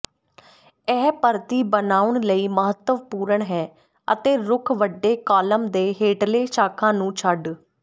ਇਹ ਪਰਤੀ ਬਣਾਉਣ ਲਈ ਮਹੱਤਵਪੂਰਨ ਹੈ ਅਤੇ ਰੁੱਖ ਵੱਡੇ ਕਾਲਮ ਦੇ ਹੇਠਲੇ ਸ਼ਾਖਾ ਨੂੰ ਛੱਡ